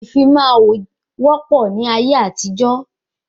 Ìfimawo wọ pọ ní ayé àtijó